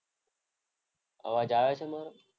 અવાજ આવે છે મારો?